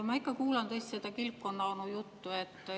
Ma ikka kuulan tõesti seda kilpkonnaonu juttu.